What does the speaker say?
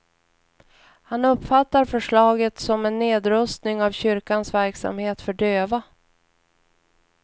Han uppfattar förslaget som en nedrustning av kyrkans verksamhet för döva.